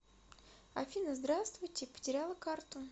афина здравствуйте потеряла карту